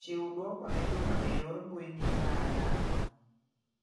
Chiw duoko ne Juma e yor mbui ni nayalo.